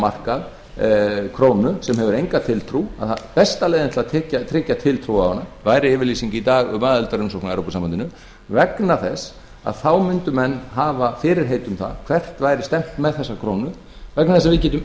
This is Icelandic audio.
markað krónu sem hefur enga tiltrú besta leiðin til að tryggja tiltrú á hana væri yfirlýsing í dag um aðildarumsókn að evrópusambandinu vegna þess að þá mundu menn hafa fyrirheit um það hvert væri stefnt með þessa krónu vegna þess að við getum